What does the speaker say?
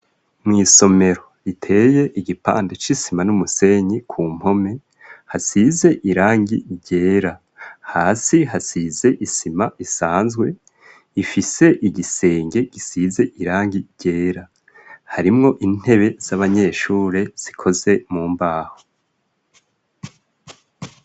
Mw'isomero iteye igipande c'isima n'umusenyi, ku mpome hasize irangi ryera, hasi hasize isima isanzwe, ifise igisenge gisize irangi ryera, harimwo intebe z'abanyeshure zikoze mu mbaho.